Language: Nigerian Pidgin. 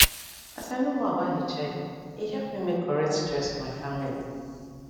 as i know more about hiv e help me make correct choice for my family